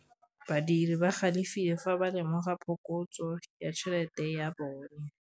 Badiri ba galefile fa ba lemoga phokotsô ya tšhelête ya bone.